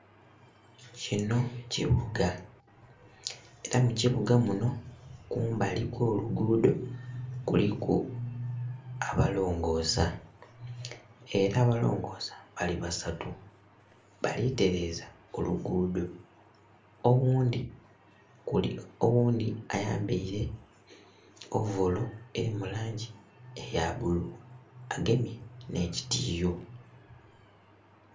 Kino kibuga era mukibuga muno kumbali okw'oluguudo kuliku abalongosa era abalongosa bali basatu bali tereza oluguudo oghundhi ayambaire ovolo eri mulangi eya bbulu agemye n'ekitiyo.